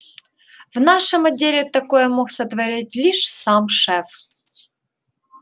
в нашем отделе такое мог сотворить лишь сам шеф